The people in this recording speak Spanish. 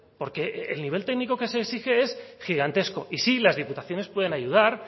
porque el nivel técnico que se exige es gigantesco y sí las diputaciones pueden ayudar